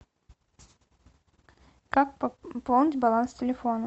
как пополнить баланс телефона